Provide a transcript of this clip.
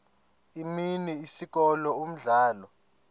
imini isikolo umdlalo